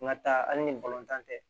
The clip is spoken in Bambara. N ka taa hali ni tan tɛ